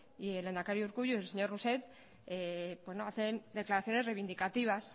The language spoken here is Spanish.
y el lehendakari urkullu y el señor rousset hacen declaraciones reivindicativas